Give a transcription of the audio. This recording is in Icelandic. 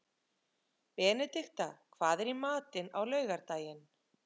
Benedikta, hvað er í matinn á laugardaginn?